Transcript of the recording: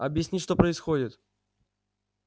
объясни что происходит